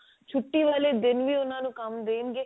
ਛੁੱਟੀ ਵਾਲੇ ਦਿਨ ਵੀ ਉਹਨਾਂ ਨੂੰ ਕੰਮ ਦੇਣਗੇ